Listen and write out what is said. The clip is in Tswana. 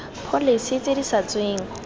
pholese tse di sa tsweng